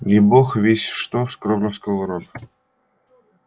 не бог весть что скромно сказал рон